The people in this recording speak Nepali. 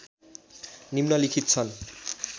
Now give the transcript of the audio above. निम्नलिखित छन्